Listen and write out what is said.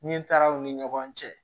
Min taara u ni ɲɔgɔn cɛ